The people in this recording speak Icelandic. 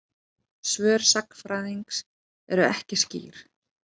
Svör sagnfræðingsins eru ekki skýr.